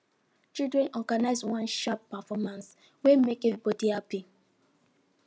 children organize one sharp performance wey make everybody happy